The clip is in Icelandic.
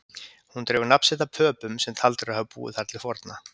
Hún dregur nafn sitt af Pöpum sem taldir eru hafa búið þar til forna.